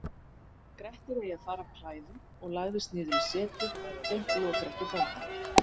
Grettir eigi fara af klæðum og lagðist niður í setið gegnt lokrekkju bónda.